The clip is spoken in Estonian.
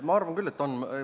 Ma arvan küll, et on.